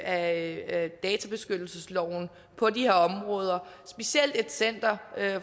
af databeskyttelsesloven på de her områder specielt for et center